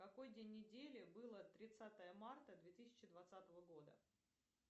какой день недели было тридцатое марта две тысячи двадцатого года